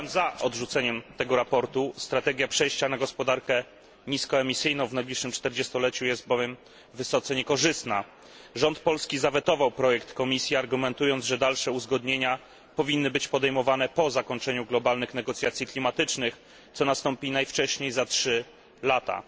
Głosowałem za odrzuceniem tego sprawozdania. Strategia przejścia na gospodarkę niskoemisyjną w najbliższych 40 leciu jest bowiem wysoce niekorzystna. Rząd Polski zawetował projekt Komisji, argumentując, że dalsze uzgodnienia powinny być podejmowane po zakończeniu globalnych negocjacji klimatycznych, co nastąpi najwcześniej za trzy lata.